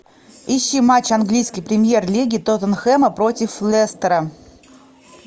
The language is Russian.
ищи матч английской премьер лиги тоттенхэма против лестера